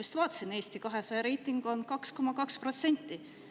Just vaatasin, Eesti 200 reiting on 2,2%.